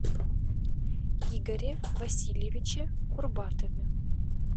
игоре васильевиче курбатове